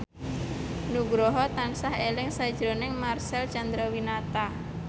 Nugroho tansah eling sakjroning Marcel Chandrawinata